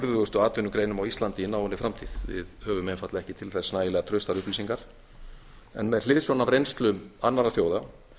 af burðustugu atvinnugreinum á íslandi í náinni framtíð við höfum einfaldlega ekki til þess nægilega traustar upplýsingar en með hliðsjón af reynslu annarra þjóða